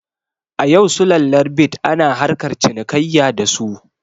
A yau sulallar bit ana harkar cinikayya da su